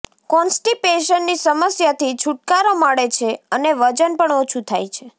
કોન્સટિપેશનની સમસ્યાથી છૂટકારો મળે છે અને વજન પણ ઓછું થાય છે